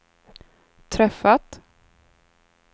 träffat